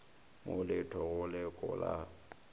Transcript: mo le tho go lekola